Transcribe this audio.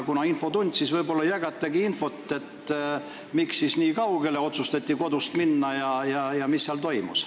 Kuna on infotund, siis võib-olla jagate infot, miks otsustati minna kodust nii kaugele ja mis seal toimus.